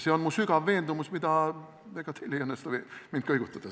See on mu sügav veendumus, ega teil ei õnnestu mind selles kõigutada.